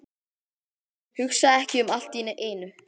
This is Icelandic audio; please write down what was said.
Hugsa ekki um allt í einu.